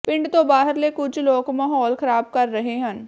ਪਿੰਡ ਤੋਂ ਬਾਹਰਲੇ ਕੁਝ ਲੋਕ ਮਾਹੌਲ ਖਰਾਬ ਕਰ ਰਹੇ ਹਨ